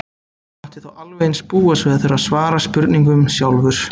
Ég mátti þá alveg eins búast við að þurfa að svara spurningum sjálfur.